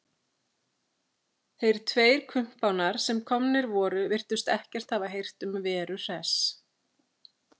Þeir tveir kumpánar sem komnir voru virtust ekkert hafa heyrt um Veru Hress.